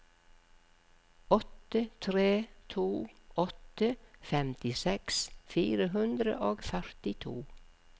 åtte tre to åtte femtiseks fire hundre og førtito